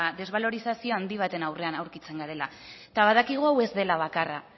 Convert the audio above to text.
desbalorizazio handi baten aurrean aurkitzen garela badakigu hau ez dela bakarra